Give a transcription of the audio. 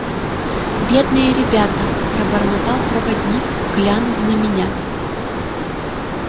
бедные ребята пробормотал проводник глянув на меня